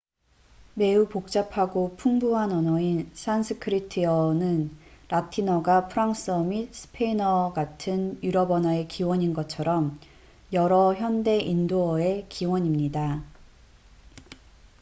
매우 복잡하고 풍부한 언어인 산스크리트어sanskrit는 라틴어가 프랑스어 및 스페인어 같은 유럽 언어의 기원인 것처럼 여러 현대 인도어의 기원입니다